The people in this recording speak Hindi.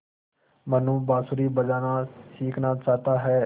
मनु बाँसुरी बजाना सीखना चाहता है